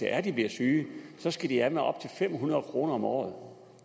er de bliver syge skal de af med op til fem hundrede kroner om året